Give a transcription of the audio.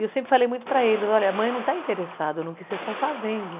E eu sempre falei muito para eles, olha, a mãe não está interessada no que vocês estão fazendo.